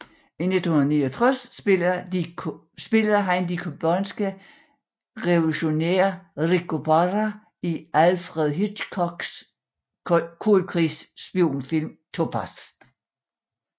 I 1969 spillede han de cubanske revolutionær Rico Parra i Alfred Hitchcocks koldkrigs spionfilm Topaz